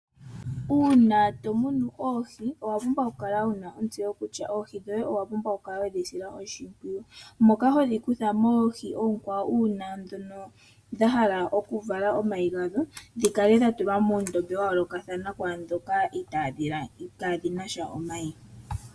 Uuna tomunu oohi owa pumbwa kukala wuna ontseyo kutya oohi dhoye owa pumbwa okukala wedhi sila oshipwiyu. Ohodhi kutha moohi oonkwawo uuna dhahala oku vala omayi gadho dhikale dhatulwa muundombe wayoolokathana kwaandhoka kaadhi nasha omayi.